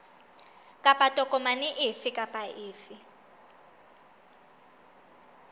kapa tokomane efe kapa efe